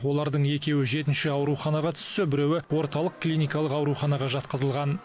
олардың екеуі жетінші ауруханаға түссе біреуі орталық клиникалық ауруханаға жатқызылған